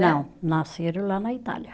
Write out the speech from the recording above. Não, nasceram lá na Itália.